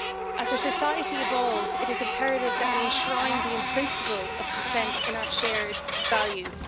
As our society evolves, it is imperative that we enshrine the principle of consent in our shared values.